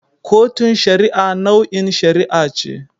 Kotun Shari'a nau'in shari'a ce.